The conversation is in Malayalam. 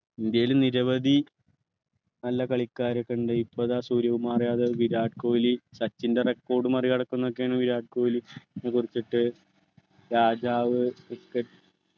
ഇന്ത്യയിൽ നിരവധി നല്ല കളികാരക്കഉണ്ടായി ഇപ്പൊ ഇതാ സൂര്യകുമാർ അതെ വിരാട് കോലി സച്ചിൻ്റെ record മറികടക്കുന്നൊക്കെയാണ് വിരാട് കോഹ്ലി രാജാവ് cricket